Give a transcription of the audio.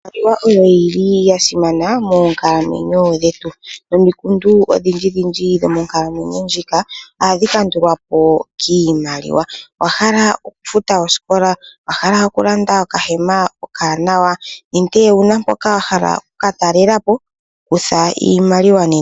Iimaliwa oyo yili yasimana monkalamwenyo dhetu nomikundu odhindji dhindji dho monkalamwenyo ndjika ohadhi kandulapo kimaliwa, owahala oku futa osikola, owahala okulanda okahema omanawa ninge owuna poka wahala oku katalelapo kutha iimaliwa nena.